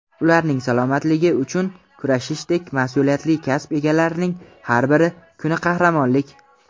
ularning salomatligi uchun kurashishdek mas’uliyatli kasb egalarining har bir kuni qahramonlik!.